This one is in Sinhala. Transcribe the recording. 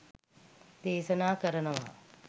දේශනා කරනවා.